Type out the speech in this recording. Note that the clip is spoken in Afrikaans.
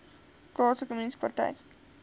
plaaslike munisipaliteit